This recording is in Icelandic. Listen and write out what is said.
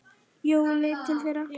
Jói leit til þeirra.